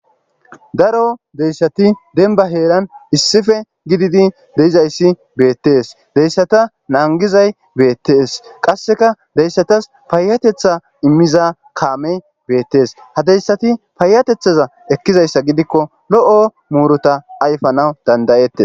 Daro deyssati denba heeran issife gididi deizayssi beettees deyssata naangizay beettees qasseka deyssatas paayatetha immiza kaame beettees ha deyssati paayatethaza ekkizayssa gidikko lo'o muuruta ayfanaw dandayette.